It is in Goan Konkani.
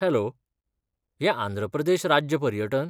हॅलो, हें आंध्र प्रदेश राज्य पर्यटन?